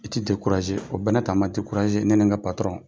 I ti o bɛƐ n'a ta a ma ne ne n ka